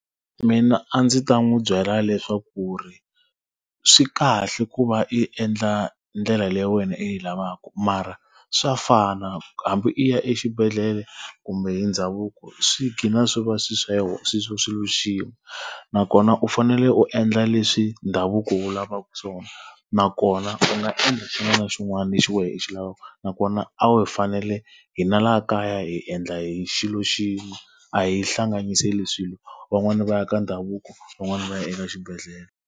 Mina a ndzi ta n'wi byela leswaku ku ri, swi kahle ku va i endla ndlela leyi wena u yi lavaka mara swa fana hambi u ya exibedhlele kumbe hi ndhavuko, swi ghina swi va swilo swa swilo swa xilo xin'we. Nakona u fanele u endla leswi ndhavuko wu lavaka swona, nakona u nga endla xin'wana na xin'wana lexi wehe xi lavaka. Nakona a hi fanele hina laha kaya hi endla hi xilo xin'we, a hi hlanganiseli swilo. Van'wani va ya ka ndhavuko, van'wani va ya eka xibedhlele.